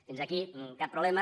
fins aquí cap problema